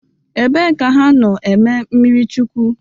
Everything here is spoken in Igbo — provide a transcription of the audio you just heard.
Ebe ka ha no eme mmiri chukwụ?